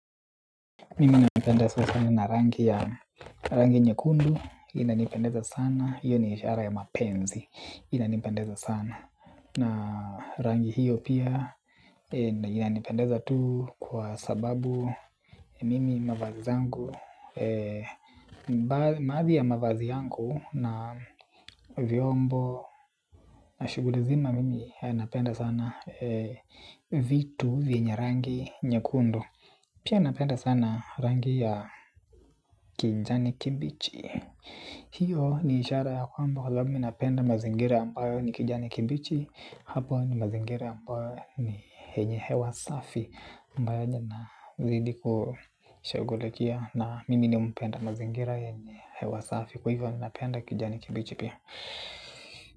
Mimi napendezwa sana na rangi nyekundu, inanipendeza sana hiyo ni ishara ya mapenzi. Inanipendeza sana, na rangi hiyo pia. Inanipendeza tu kwa sababu, mimi mavazi zangu, baadhi ya mavazi yangu na vyombo na shuguli zima, mimi napendeza sana. Vitu vinye rangi nyekundu, pia napendeza sana rangi ya kijani kibichi, hiyo ni ishara ya kwamba mimi napenda mazingira ambayo ni kijani kibichi. Hapo ni mazingira ambayo ni yenye hewa safi. Mbali niidi kushugulikia na mimi ni umpenda mazingira yeye hewa safi. Kwa hivyo minapenda kijani kibichi pia.